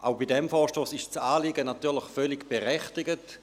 Auch bei diesem Vorstoss ist das Anliegen natürlich völlig berechtigt.